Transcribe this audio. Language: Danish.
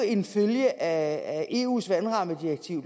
en følge af eus vandrammedirektiv